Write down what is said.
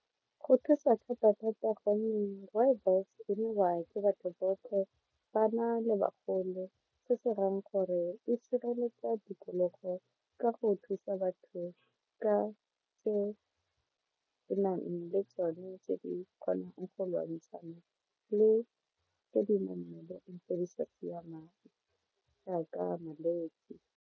Go thusa thata thata gonne rooibos e nwewa ke batho botlhe bana le bagolo se se dirang gore e sireletsa tikologo ka go thusa batho ka e nang le tsone tse di kgonang go lwantshana le tse dinamelong tse di sa siamang jaaka malwetse.